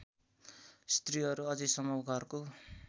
स्त्रीहरू अझैसम्म घरको